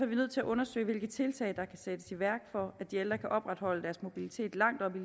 vi nødt til at undersøge hvilke tiltag der kan sættes i værk for at de ældre kan opretholde deres mobilitet langt op i